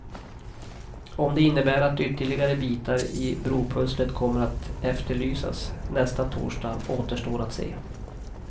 Om det innebär att ytterligare bitar i bropusslet kommer att efterlysas nästa torsdag återstår att se.